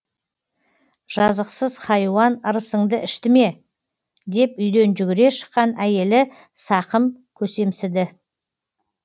жазықсыз хайуан ырысыңды ішті ме деп үйден жүгіре шыққан әйелі сақым көсемсіді